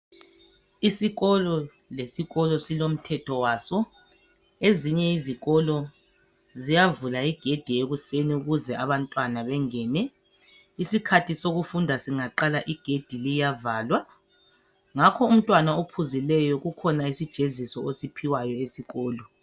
Isikolo lesikolo silomthetho waso, ezinye izikolo ziyavula igedi ekuseni ukuze abantwana bengene. Isikhathi sokufunda singaqala igedi liyavalwa ngakho umntwana ophuzileyo kukhona isijeziso osiphiwayo esikolo